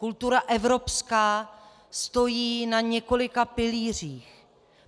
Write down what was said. Kultura evropská stojí na několika pilířích.